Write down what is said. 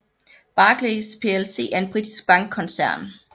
Barclays plc er en britisk bankkoncern